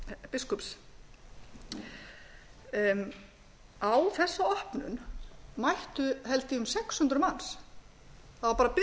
biskups á þessa opnun mættu held ég um sex hundruð manns það var bara